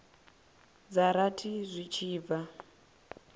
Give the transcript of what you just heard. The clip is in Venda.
dza rathi zwi tshi bva